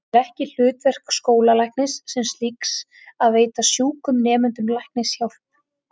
Það er ekki hlutverk skólalæknis sem slíks að veita sjúkum nemendum læknishjálp.